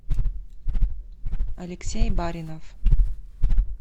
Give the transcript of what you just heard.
алексей баринов